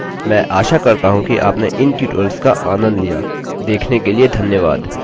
I I T Bombay की तरफ से मैं रवि कुमार आपसे विदा लेता हूँ धन्यवाद